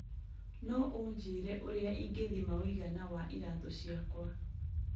no ũnjĩĩre ũrĩa ingĩthima ũigana wa iratũ ciakwa